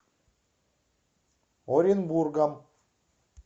оренбургом